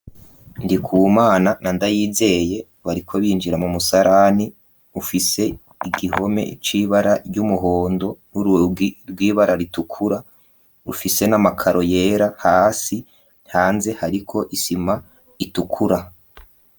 Ndikuwumana na ndayizeye bariko binjira mu musarani ufise igihome c'ibara ry'umuhondo, n'urugi rw'ibara ritukura, ufise n'amakaro yera hasi hanze hariko isima itukura.